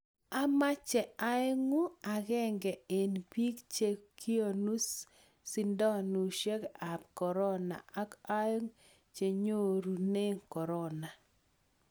amache aengu akenge eng bik che kinu shidoshek ab korona ak aeku chenyorune korona